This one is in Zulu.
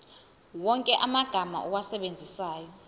wonke amagama owasebenzisayo